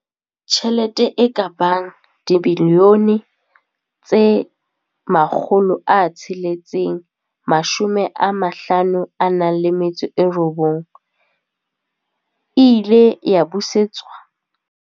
Tjhelete e ka bang R659 milione e ile ya busetswa.